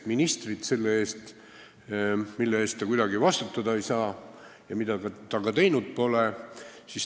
– ministrit asjade eest, mille eest ta kuidagi vastutada ei saa ja mida ta ka teinud pole.